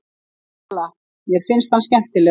SÓLA: Mér finnst hann skemmtilegur.